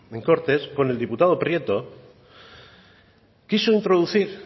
en cortes con el diputado prieto quiso introducir